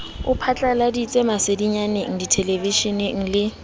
o phatladitse masedinyaneng dithelevishineng le